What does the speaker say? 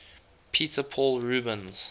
peter paul rubens